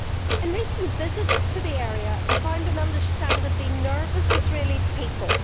In recent visits to the area, I found an understandably nervous Israeli people.